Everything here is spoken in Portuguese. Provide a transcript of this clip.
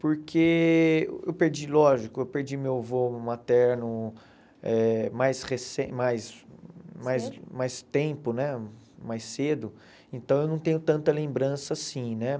Porque eu perdi, lógico, eu perdi meu avô materno eh mais recen mais mais mais tempo né, mais cedo, então eu não tenho tanta lembrança assim, né?